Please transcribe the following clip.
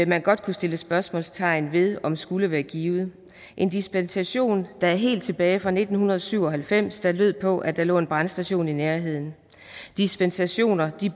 man godt kunne sætte spørgsmålstegn ved om skulle være givet en dispensation der er helt tilbage fra nitten syv og halvfems der lød på at der lå en brandstation i nærheden dispensationer